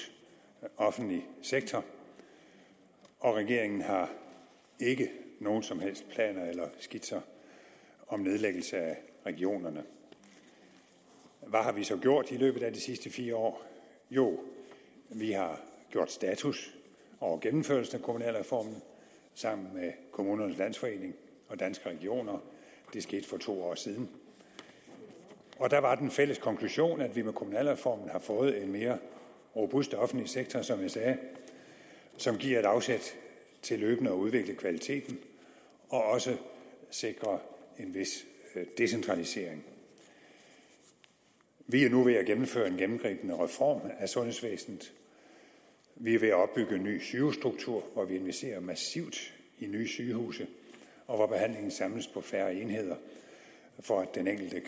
offentlig sektor og regeringen har ikke nogen som helst planer eller skitser om nedlæggelse af regionerne hvad har vi så gjort i løbet af de sidste fire år jo vi har gjort status over gennemførelsen af kommunalreformen sammen med kommunernes landsforening og danske regioner det skete for to år siden der var den fælles konklusion at vi med kommunalreformen har fået en mere robust offentlig sektor som jeg sagde som giver et afsæt til løbende at udvikle kvaliteten og også sikrer en vis decentralisering vi er nu ved at gennemføre en gennemgribende reform af sundhedsvæsenet vi er ved at opbygge en ny sygehusstruktur og vi investerer massivt i nye sygehuse hvor behandlingen samles på færre enheder for at den enkelte